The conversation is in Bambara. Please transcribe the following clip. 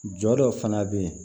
Jɔ dɔ fana bɛ yen